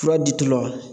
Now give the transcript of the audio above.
Fura di tubabu